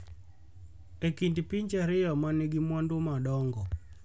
e kind pinje ariyo ma nigi mwandu madongo